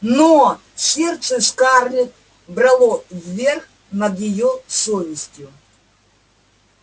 но сердце скарлетт брало верх над её совестью